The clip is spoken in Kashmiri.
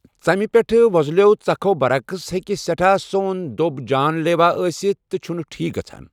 ژمہِ پیٹھ ووزلِیو٘ ژكھو٘ برعکس، ہیكہِ سیٹھاہ سون دھوب جان لیوا ٲسِتھ تہٕ چھُنہٕ ٹھیٖک گژھان ۔